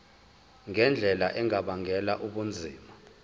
ngendlela engabangela ubunzima